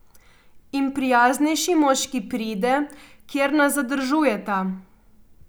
In prijaznejši moški pride, kjer nas zadržujeta.